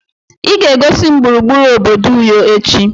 Ị ga-egosi m gburugburu obodo Uyo echi.